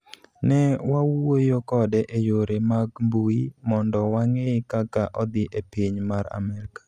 ne wawuoyokode e yore mag mbui mondowange kaka odhi e piny mar Amerika